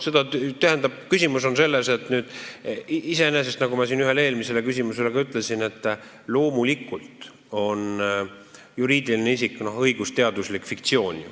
Tähendab, küsimus on selles, nagu ma siin ühele eelmisele küsimusele ka vastasin, et loomulikult on juriidiline isik iseenesest õigusteaduslik fiktsioon.